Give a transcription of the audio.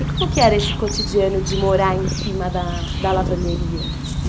E como que era esse cotidiano de morar em cima da lavanderia?